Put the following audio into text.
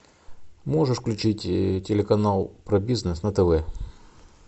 можешь включить телеканал про бизнес на тв